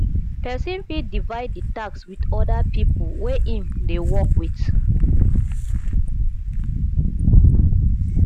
person fit divide the task with other pipo wey im dey work with